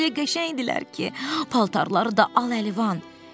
Onlar elə qəşəng idilər ki, paltarları da al-əlivandır.